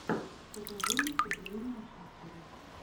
покажи выступления шакиры